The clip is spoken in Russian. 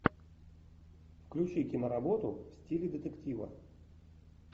включи киноработу в стиле детектива